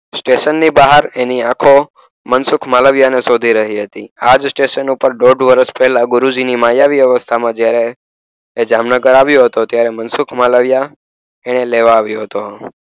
સ્ટેશનની બહાર એની આંખો મનસુખ માલવયા ને શોધી રહી હતી. આજ સ્ટેશન ઉપર દોઢ વર્ષ પહેલા ગુરુજીની માયાવી વ્યવસ્થામાં જ્યારે એ જામનગર આવ્યો હતો. ત્યારે, મનસુખ માલવયા એને લેવા આવ્યો હતો.